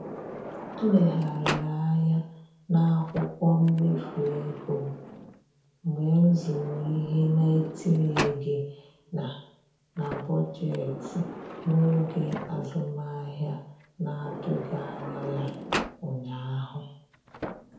M legharịrị anya n'akwụkwọ mmefu ego m mgbe m zụrụ ihe na-etinyeghị na na bọjetị n'oge azụmahịa na-atụghị anya ya ụnyaahụ